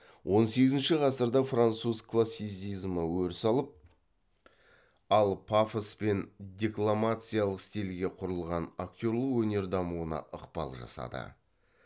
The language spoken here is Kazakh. он сегізінші ғасырда француз классицизмі өріс алып ол пафос пен декламациялық стильге құрылған актерлік өнер дамуына ықпал жасады